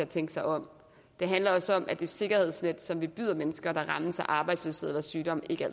tænke sig om det handler også om at det sikkerhedsnet som vi byder mennesker der rammes af arbejdsløshed eller sygdom ikke